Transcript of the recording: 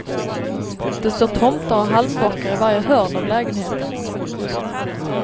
Det står tomtar och halmbockar i varje hörn av lägenheten.